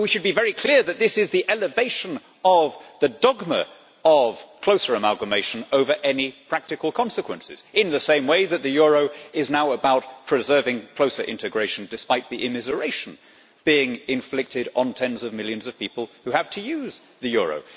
But we should be very clear that this is the elevation of the dogma of closer amalgamation over any practical consequences, in the same way that the euro is now about preserving closer integration despite the immiseration being inflicted on tens of millions of people who have to use the euro.